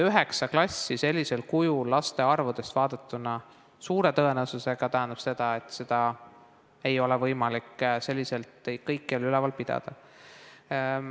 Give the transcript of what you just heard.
Üheksa klassi sellisel kujul, laste arvu vaadates, suure tõenäosusega tähendab seda, et sellist kooli ei ole võimalik selliselt kõikjal üleval pidada.